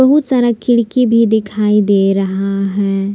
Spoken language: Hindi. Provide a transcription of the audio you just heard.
बहुत सारा खिड़की भी दिखाई दे रहा है।